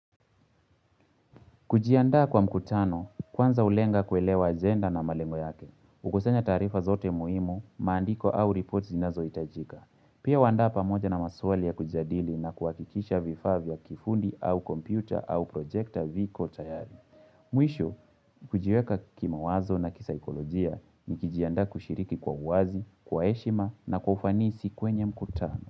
Kujiandaa kwa mkutano, kwanza ulenga kuelewa agenda na malengo yake. Ukusanya taarifa zote muhimu, maandiko au report zinazo itajika. Pia huandaa pamoja na maswali ya kujadili na kuakikisha vifaa vya kifundi au computer au projekta viko tayari. Mwisho, kujiweka kima wazo na kisaikolojia ni kijiandaa kushiriki kwa uwazi, kwa heshima na kwa ufanisi kwenye mkutano.